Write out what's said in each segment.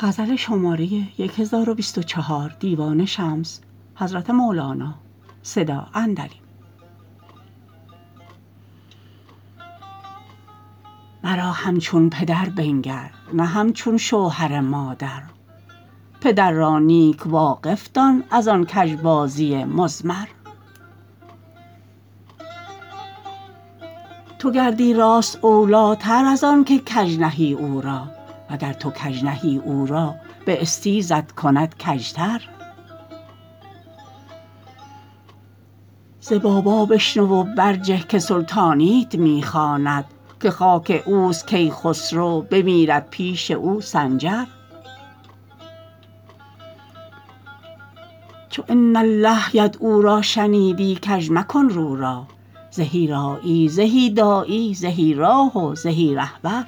مرا همچون پدر بنگر نه همچون شوهر مادر پدر را نیک واقف دان از آن کژبازی مضمر تو گردی راست اولیتر از آنک کژ نهی او را وگر تو کژ نهی او را به استیزت کند کژتر ز بابا بشنو و برجه که سلطانیت می خواند که خاک اوت کیخسرو بمیرد پیش او سنجر چو ان الله یدعو را شنیدی کژ مکن رو را زهی راعی زهی داعی زهی راه و زهی رهبر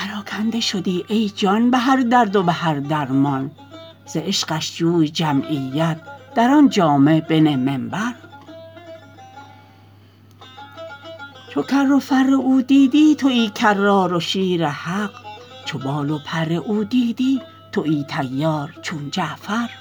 پراکنده شدی ای جان به هر درد و به هر درمان ز عشقش جوی جمعیت در آن جامع بنه منبر چو کر و فر او دیدی توی کرار و شیر حق چو بال و پر او دیدی توی طیار چون جعفر